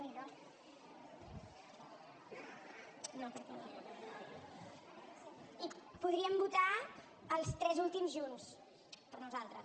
i podríem votar els tres últims junts per nosaltres